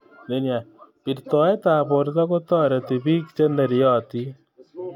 Birtoetab borto kotareti bik che neryotin